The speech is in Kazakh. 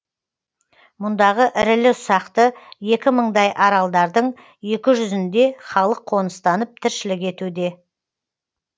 мұндағы ірілі ұсақты екі мыңдай аралдардың екі жүзінде халық қоныстанып тіршілік етуде